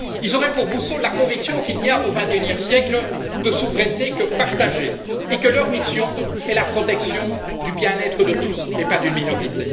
Ils auraient pour boussole la conviction qu'il n'y a, au XXIe siècle, de souveraineté que partagée et que leur mission est la protection du bien être de tous et pas d'une minorité.